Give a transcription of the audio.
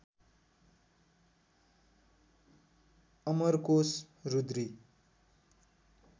Amarkosh Rudri